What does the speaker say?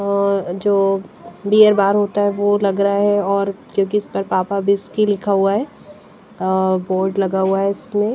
अ अ जो beer bar होता है वो लग रहा है और क्योंकि इस पर पापा विस्की लिखा हुआ है बोर्ड लगा हुआ है।